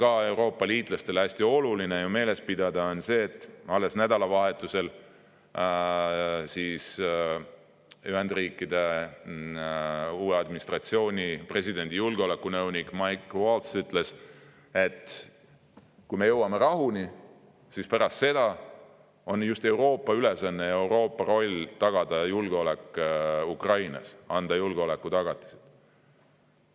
ka Euroopa liitlastel on hästi oluline meeles pidada, on see, et alles nädalavahetusel ütles Ühendriikide uue administratsiooni presidendi julgeolekunõunik Mike Waltz, et kui me jõuame rahuni, siis pärast seda on just Euroopa ülesanne ja roll tagada julgeolek Ukrainas, anda julgeolekutagatised.